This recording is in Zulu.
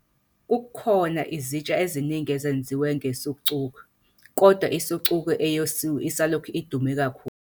Kukhona izitsha eziningi ezenziwe nge-sucuk, kodwa i-sucuk eyosiwe isalokhu idume kakhulu.